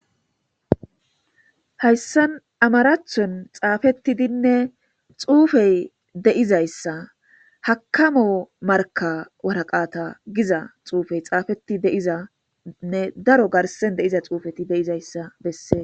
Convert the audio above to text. Hayssan amaraathon xaafetidinne xuufey de'izayssa hakamo markka waraqata giza xuufey xaafeti de'izanne daro garssen de'iza xuufeti de'izayssa besses.